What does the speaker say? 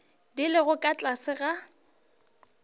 di lego ka tlase ga